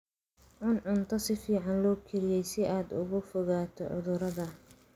Cun cunto si fiican loo kariyey si aad uga fogaato cudurrada.